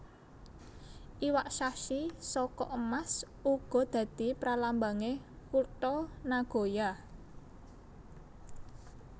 Iwak shachi saka emas uga dadi pralambange kutha Nagoya